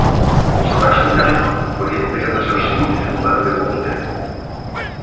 Strax sem telpa fór Hildegard að sjá sýnir og verða fyrir opinberunum.